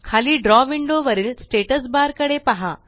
खाली द्रव विंडो वरील स्टॅटस बार कडे पहा